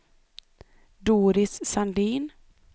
Doris Sandin